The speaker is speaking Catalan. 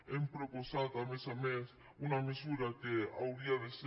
hem proposat a més a més una mesura que hauria de ser